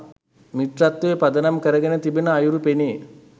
මිත්‍රත්වය පදනම් කරගෙන තිබෙන අයුරු පෙනේ.